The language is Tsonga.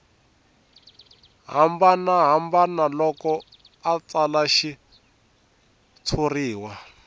hambanahambana loko a tsala xitshuriwa